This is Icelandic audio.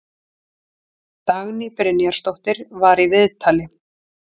Dagný Brynjarsdóttir var í viðtali.